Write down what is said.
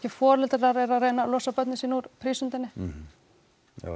foreldrar eru að reyna að losa börnin sín úr prísundinni